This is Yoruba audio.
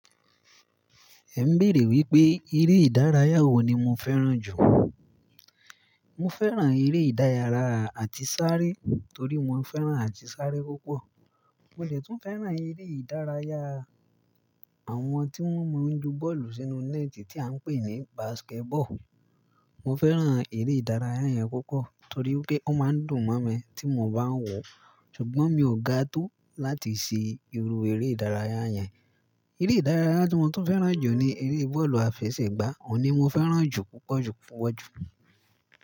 Ẹ ń béèrè wípé eré ìdárayá wo ni mo fẹ́ràn jù? Mo fẹ́ràn eré ìdárayá àti sáré torí mo fẹ́ràn àti sáré púpọ̀. Mo jẹ tó fẹ́ràn eré ìdárayá àwọn tí wọ́n máa ń ju bọ́ọ̀lù sínú nẹ́ẹ̀tì tí à ń pè ní basketball. Mo fẹ́ràn eré ìdárayá yẹn púpọ̀ torí pé ó máa ń dùn mọ́ mi tí mo bá ń wòó ṣùgbọ́n mi ò ga tó láti ṣe irú eré ìdárayá yẹn. Eré ìdárayá tí mo tún fẹ́ràn jù ni eré bọ́ọ̀lù àfẹsẹ̀gbá, òun ni mo fẹ́ràn jù púpọ̀ jù fún ọjọ́.